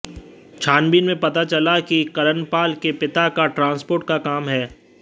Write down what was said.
छानबीन में पता चला कि करणपाल के पिता का ट्रांसपोर्ट का काम है